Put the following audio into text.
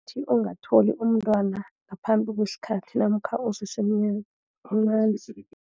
Ukuthi ungatholi umntwana ngaphambi kwesikhathi, namkha usese mncani